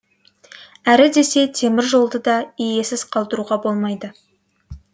әрі десе темір жолды да иесіз қалдыруға болмайды